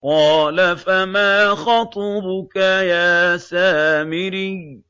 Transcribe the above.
قَالَ فَمَا خَطْبُكَ يَا سَامِرِيُّ